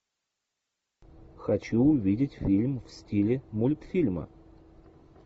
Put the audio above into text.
хочу увидеть фильм в стиле мультфильма